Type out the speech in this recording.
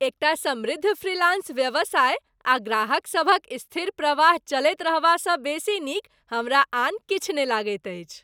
एकटा समृद्ध फ्रीलांस व्यवसाय आ ग्राहकसभक स्थिर प्रवाह चलैत रहबासँ बेसी नीक हमरा आन किछु नहि लगैत अछि।